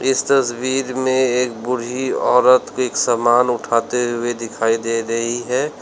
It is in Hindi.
इस तस्वीर में एक बूढी औरत एक समान उठाते हुए दिखाई दे रही है।